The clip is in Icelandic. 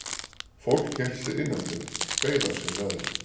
Fólk hélt sig innandyra, beið af sér veðrið.